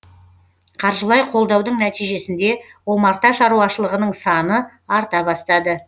қаржылай қолдаудың нәтижесінде омарта шаруашылығының саны арта бастады